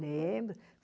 Lembro.